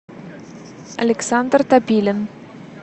александр топилин